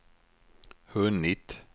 hunnit